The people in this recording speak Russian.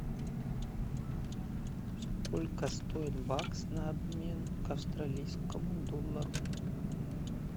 сколько стоит бакс на обмен к австралийскому доллару